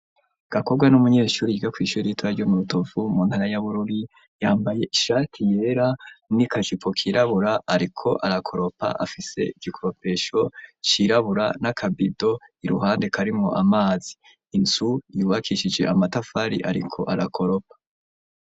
Gakobwa n'umunyeshuri yiga kw'ishuri ritoya ryo mu rutovu mu ntara ya bururi yambaye ishati yera n'ikajipo kirabura ariko arakoropa afise igikoropesho cirabura n'akabido iruhande karimwo amazi, inzu yubakishije amatafari ariko arakoropa.